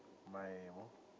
maemu